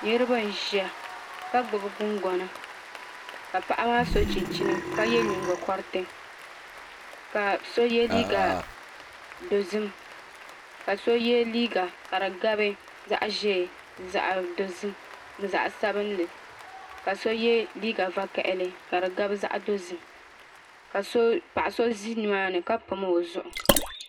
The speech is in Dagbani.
Niraba n ʒiya ka gbubi gungona ka paɣaba maa so chinchina ka yɛ nyingo koriti ka so yɛ liiiga dozim ka so yɛ liiga ka di gabi zaɣ ʒiɛ zaɣ dozim ni zaɣ sabinli ka so yɛ liiga vakaɣali ka di gabi zaɣ dozim ka paɣa so ʒi nimaani ka pam o zuɣu